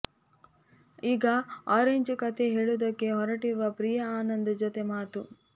ಈಗ ಆರೆಂಜ್ ಕತೆ ಹೇಳುವುದಕ್ಕೆ ಹೊರಟಿರುವ ಪ್ರಿಯಾ ಆನಂದ್ ಜತೆ ಮಾತು